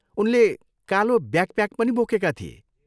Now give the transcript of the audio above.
उनले कालो ब्याकप्याक पनि बोकेका थिए।